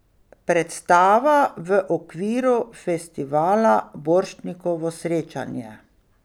Predstava v okviru festivala Borštnikovo srečanje.